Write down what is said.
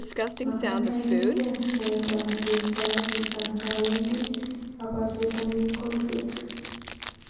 Magaat ailenge mwaita negertoi asista ngawendi abachesani kolfit